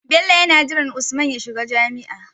Bello yana jiran Yusuf ya shiga jami'a